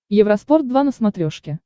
евроспорт два на смотрешке